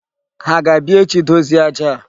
Ha ga-abịa echi dozie aja a?